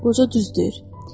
Qoca düz deyir.